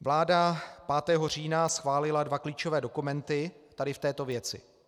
Vláda 5. října schválila dva klíčové dokumenty tady v této věci.